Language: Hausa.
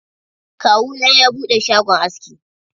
Kawu na ya buɗe shagon aski.